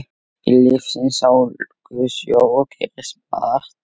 Í lífsins ólgusjó gerist margt.